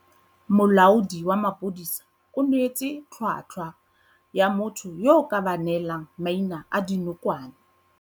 Molaodi wa maphodisa o neetse tlhwatlhwa ya motho yo a ka ba neelang maina a dinokwane.